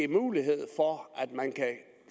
mulighed